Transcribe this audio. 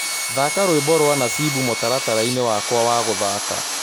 Thaka rwĩmbo rwa Nasibu mũtarataraĩnĩ wakwa wa gũthaka